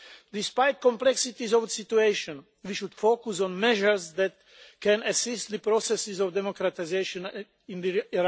Despite the complexities of the situation, we should focus on measures that can assist the processes of democratisation in Iran.